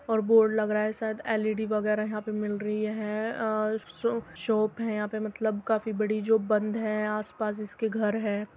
और बोर्ड लग रहा है शायद एल_ई_डी वगेरा यहां पे मिल रही हैं और शो शॉप है यहाँ पे मतलब काफी बड़ी जो बंद है आस-पास इसके घर हैं।